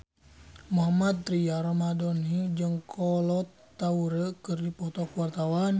Mohammad Tria Ramadhani jeung Kolo Taure keur dipoto ku wartawan